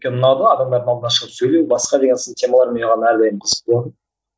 өйткені ұнады адамдардың алдына шығып сөйлеу басқа деген сын темалар маған әрдайым қызықты болатын